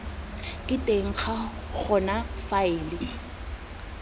ka teng ga gona faele